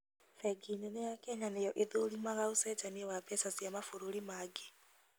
Bengi nene ya Kenya nĩyo ĩthũrimaga ũcenjania wa mbeca cia mabũrũri mangĩ